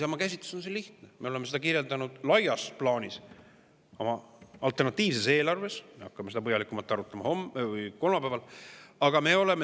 Isamaa käsitlus on lihtne, me oleme seda kirjeldanud laias plaanis oma alternatiivses eelarves, mida me hakkame põhjalikumalt arutama kolmapäeval.